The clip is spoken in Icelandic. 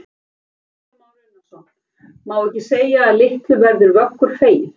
Kristján Már Unnarsson: Má ekki segja að litlu verður Vöggur feginn?